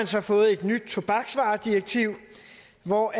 så fået et nyt tobaksvaredirektiv hvori